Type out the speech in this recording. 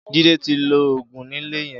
Jide ti ló ógùn nilé yèn